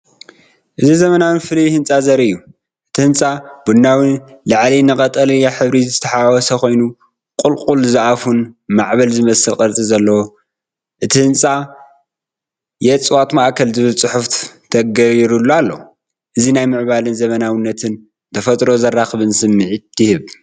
እዚ ዘመናውን ፍሉይን ህንጻ ዘርኢ እዩ። እቲ ህንጻ ቡናዊ ላዕሊ ን ቀጠልያን ሕብሪ ዝተሓዋወሰ ኮይኑ ቁልቁል ዝኣፉን ማዕበል ዝመስልን ቅርጺ ኣለዎ። እቲ ህንፃ "የእፅዋት ማእከል" ዝብል ፅሑፍ ተገይሩሉ ኣሎ። እዚ ናይ ምዕባለን ዘመናዊነትን ንተፈጥሮ ዘኽብርን ስምዒት ይህብ።